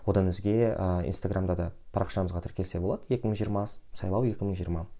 одан өзге ы инстаграмда да парақшамызға тіркелсе болады екі мың жиырма сайлау екі мың жиырма